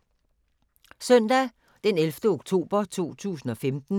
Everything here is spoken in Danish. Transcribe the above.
Søndag d. 11. oktober 2015